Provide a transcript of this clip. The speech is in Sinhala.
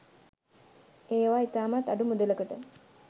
ඒවා ඉතාමත් අඩු මුදලකට